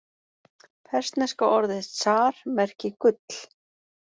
Persneska orðið zar merki gull.